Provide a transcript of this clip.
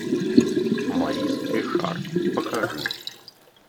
морис ришар покажи